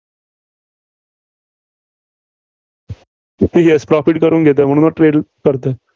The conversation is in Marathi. तसं yes profit करून घेतोय. म्हणूनच trade करतोय.